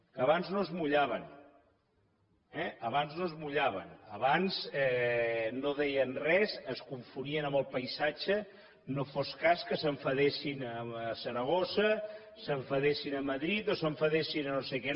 que abans no es mullaven eh abans no es mullaven abans no deien res es confonien amb el paisatge no fos cas que s’enfadessin a saragossa s’enfadessin a madrid o s’enfadessin a no sé què